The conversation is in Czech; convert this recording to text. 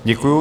Děkuji.